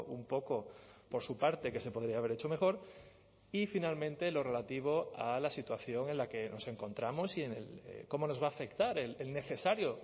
un poco por su parte que se podría haber hecho mejor y finalmente lo relativo a la situación en la que nos encontramos y cómo nos va a afectar el necesario